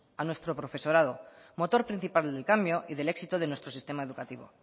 a nuestro profesorado motor principal del cambio y del éxito de nuestro sistema educativo